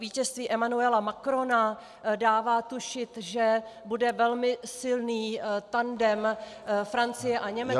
Vítězství Emmanuela Macrona dává tušit, že bude velmi silný tandem Francie a Německo -